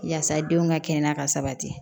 Yaasa denw ka kɛnɛya ka sabati